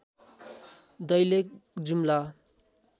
Dailekh Jumla